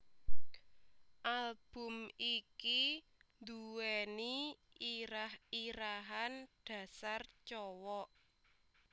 Album iki nduweni irah irahan Dasar Cowok